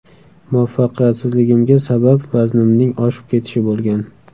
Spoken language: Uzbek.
Muvaffaqiyatsizligimga sabab vaznimning oshib ketishi bo‘lgan.